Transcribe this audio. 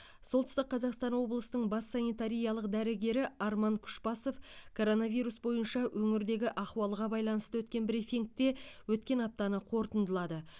солтүстік қазақстан облысының бас санитариялық дәрігері арман күшбасов коронавирус бойынша өңірдегі ахуалға байланысты өткен брифингте өткен аптаны қорытындылады